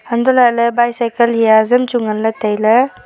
hantoh lahley bicycle hia hazam chu ngan ley tailey.